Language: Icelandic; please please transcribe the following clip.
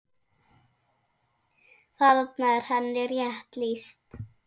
Þarna er henni rétt lýst.